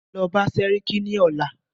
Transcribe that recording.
Lọ bá sẹ́ríkí ní ọ̀la!